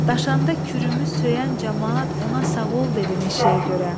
Daşanda kürümüz söyən camaat ona sağ ol dedi meşəyə görə.